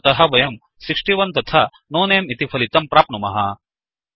अतः वयं 61 तथा नो नमे इति फलितं प्राप्नुमः